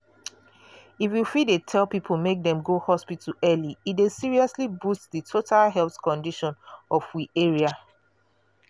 if we fit dey tell people make dem go hospital early e dey seriously boost di total health condition of we area.